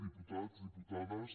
diputats diputades